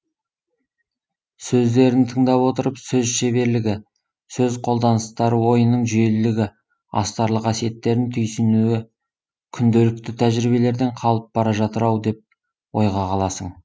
сөздерін тыңдап отырып сөз шеберлігі сөз қолданыстары ойының жүйелілігі астарлы қасиеттерін түйсінуі күнделікті тәжірибелерден қалып бара жатыр ау деп ойға қаласың